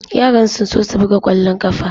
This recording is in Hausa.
Yaran sun so su buga kwallon kafa.